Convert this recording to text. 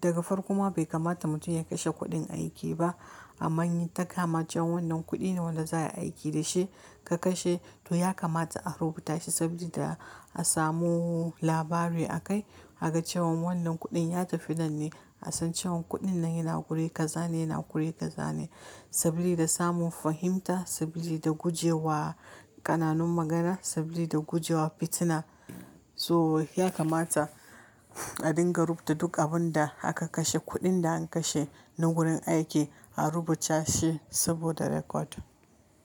daga farko ma bai kamata mutum ya kashe kuɗin aiki ba. Amman in ta kamace wannan kuɗi ne wanda za aiki da shi ka kashe. Toh ya kamata a rubuta shi sabili da a samu labari a kai. A gan cewan wannan kuɗin ya tafi nan ne, a san cewan kuɗin nan yana ƙure ka za ne, yana ƙure ka za ne. Sabili da da samun fahimta, sabili da gujewa ƙananun magana, sabili da gujewa fitina. Toh ya kamata, a dinga rubuta duk abun da aka kashe, kuɗin da an kashe nan wurin aiki a rubuta shi saboda record.